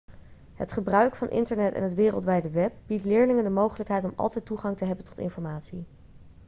het gebruik van internet en het wereldwijde web biedt leerlingen de mogelijkheid om altijd toegang te hebben tot informatie